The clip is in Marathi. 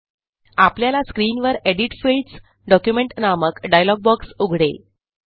आपल्याला स्क्रीनवर एडिट Fields डॉक्युमेंट नामक डायलॉग बॉक्स उघडेल